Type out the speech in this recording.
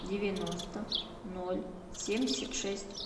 девяносто ноль семьдесят шесть